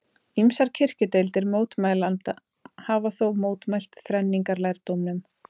Ýmsar kirkjudeildir mótmælenda hafa þó mótmælt þrenningarlærdómnum.